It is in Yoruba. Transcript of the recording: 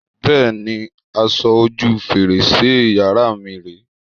Bẹ́ẹ̀ni, aṣọ ojú fèrèsé yàrá mi rè é.